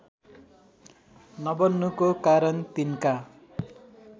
नबन्नुको कारण तिनका